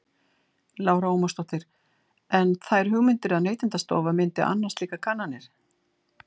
Lára Ómarsdóttir: En þær hugmyndir að Neytendastofa myndi annast slíkar kannanir?